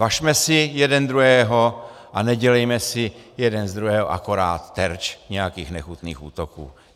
Važme si jeden druhého a nedělejme si jeden z druhého akorát terč nějakých nechutných útoků.